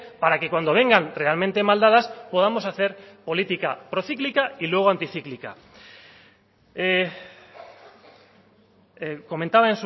para que cuando vengan realmente maldadas podamos hacer política procíclica y luego anticíclica comentaba